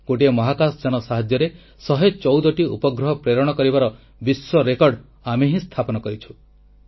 ଗୋଟିଏ ମହାକାଶ ଯାନ ସାହାଯ୍ୟରେ 114ଟି ଉପଗ୍ରହ ପ୍ରେରଣ କରିବାର ବିଶ୍ୱ ରେକର୍ଡ଼ ଆମେ ହିଁ ସ୍ଥାପନ କରିଛୁ